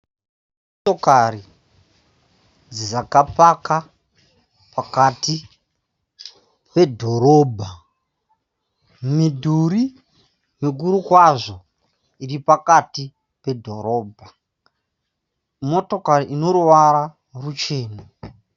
Motokari dzakapaka pakati pedhorobha . Midhuri mikuru kwazvo iripakati pedhorobha. Motokari ine ruvara ruchena.